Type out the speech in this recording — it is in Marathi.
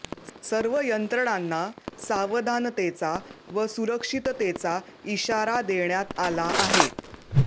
सर्व यंत्रणांना सावधानतेचा व सुरक्षिततेचा इशारा देण्यात आला आहे